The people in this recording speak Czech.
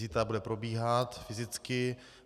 Zítra bude probíhat fyzicky.